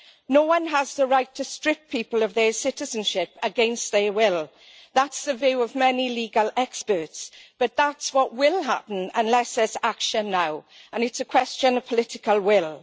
No one has the right to strip people of their citizenship against their will. That's the view of many legal experts but that's what will happen unless there is action now, and it's a question of political will.